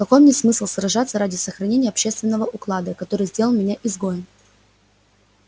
какой мне смысл сражаться ради сохранения общественного уклада который сделал меня изгоем